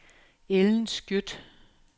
Ellen Skjødt